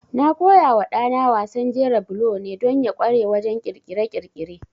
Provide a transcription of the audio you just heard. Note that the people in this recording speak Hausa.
Na koyawa ɗana wasan jera bulo ne don ya ƙware wajen ƙirƙire-ƙirƙire.